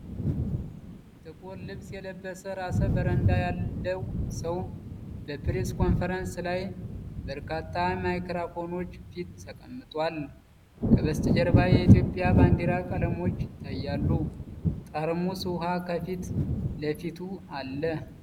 ጥቁር ልብስ የለበሰ ራሰ-በረንዳ ያለው ሰው በፕሬስ ኮንፈረንስ ላይ በበርካታ ማይክሮፎኖች ፊት ተቀምጧል። ከበስተጀርባ የኢትዮጵያ ባንዲራ ቀለሞች ይታያሉ፤ ጠርሙስ ውሃ ከፊት ለፊቱ አለ።